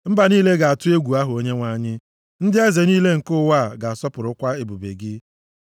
Mba niile ga-atụ egwu aha Onyenwe anyị, ndị eze niile nke ụwa ga-asọpụrụkwa ebube gị.